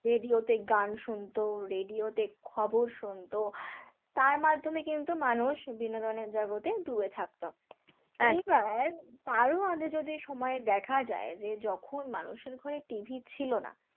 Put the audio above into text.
radio তে গান শুনত radio তে খবর শুনত, তার মাধ্যমে কিন্তু মানুষ বিনোদনের জগতে ডুবে থাকত এইবার তার মানে যদি সময় দেখা যায় যে যখন মানুষের ঘরে TV ছিল না।